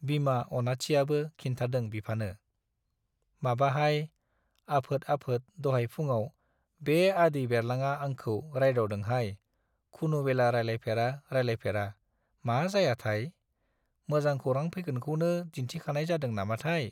बिमा अनाथियाबो खिन्थादों बिफानो- माबाहाय, आफोद आफोद दहाय फुङाव बे आदै बेरलांआ आंखौ रायदावदोंहाय खुनुबेला रायलायफेरा रायलायफेरा, मा जायाथाय ? मोजां खौरां फैगोनखौनो दिन्थिखानाय जादों नामाथाय ?